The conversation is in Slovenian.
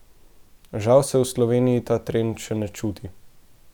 Žal se v Sloveniji ta trend še ne čuti.